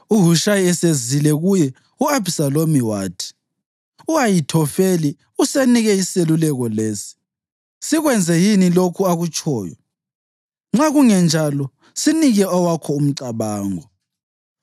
UHushayi esezile kuye, u-Abhisalomu wathi, “U-Ahithofeli usesinike iseluleko lesi. Sikwenze yini lokhu akutshoyo? Nxa kungenjalo, sinike owakho umcabango.”